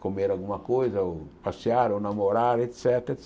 comer alguma coisa, ou passear, ou namorar, et cétera, et